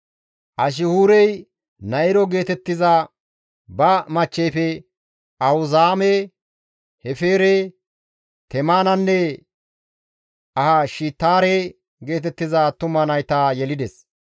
Ashihuurey Na7iro geetettiza ba machcheyfe Ahuzaame, Hefeere, Temenanne Ahashitaare geetettiza attuma nayta yelides.